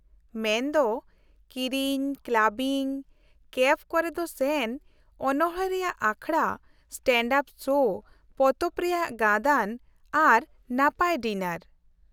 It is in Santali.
-ᱢᱮᱱᱫᱚ, ᱠᱤᱨᱤᱧ, ᱠᱞᱟᱵᱤᱝ, ᱠᱮᱯᱷ ᱠᱚᱨᱮᱫ ᱥᱮᱱ, ᱚᱱᱚᱲᱦᱮᱸ ᱨᱮᱭᱟᱜ ᱟᱠᱷᱲᱟ, ᱥᱴᱮᱱᱰᱼᱟᱯ ᱥᱳ, ᱯᱚᱛᱚᱵ ᱨᱮᱭᱟᱜ ᱜᱟᱹᱫᱟᱹᱱ ᱟᱨ ᱱᱟᱯᱟᱭ ᱰᱤᱱᱟᱨ ᱾